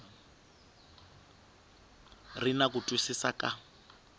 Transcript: ri na ku twisisa ka